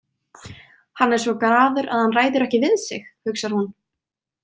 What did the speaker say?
Hann er svo graður að hann ræður ekki við sig, hugsar hún.